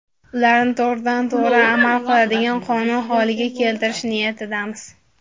Ularni to‘g‘ridan to‘g‘ri amal qiladigan qonun holiga keltirish niyatidamiz.